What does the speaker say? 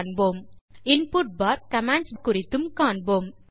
கூடவே input for commands குறித்தும் கூறுகிறேன்